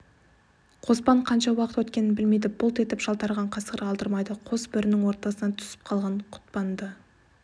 қоспан қанша уақыт өткенін білмейді бұлт етіп жалтарған қасқыр алдырмайды қос бөрінің ортасына түсіп қалған құтпанды